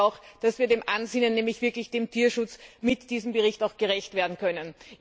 Darum glaube ich auch, dass wir dem Ansinnen nämlich wirklich dem Tierschutz mit diesem Bericht gerecht werden können.